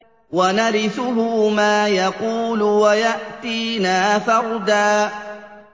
وَنَرِثُهُ مَا يَقُولُ وَيَأْتِينَا فَرْدًا